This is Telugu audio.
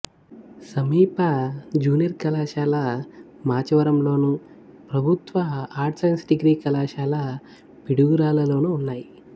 సమీప జూనియర్ కళాశాల మాచవరంలోను ప్రభుత్వ ఆర్ట్స్ సైన్స్ డిగ్రీ కళాశాల పిడుగురాళ్ళలోనూ ఉన్నాయి